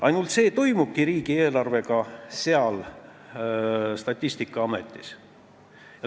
Ainult see seal Statistikaametis riigieelarvega toimubki.